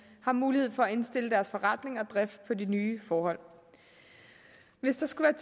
har mulighed for at indstille deres forretning og drift på de nye forhold hvis der skulle